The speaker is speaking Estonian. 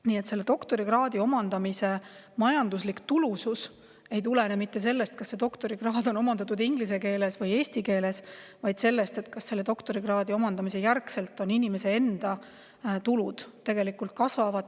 Nii et doktorikraadi omandamise majanduslik tulusus ei tulene mitte sellest, kas doktorikraad on omandatud inglise või eesti keeles, vaid sellest, kas doktorikraadi omandamise järel inimese enda tulud kasvavad.